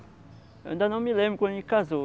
Eu ainda não me lembro quando ele casou.